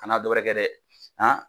Kan'a dɔ wɛrɛ kɛ dɛ